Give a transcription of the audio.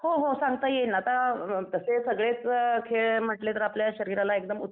हो हो सांगता येईल ना आता ते सगळेच खेळ म्हंटले तर आपल्या शरीराला एकदम